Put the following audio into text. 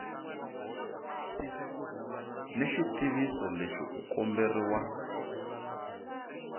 ni xitiviso lexi u komberiwa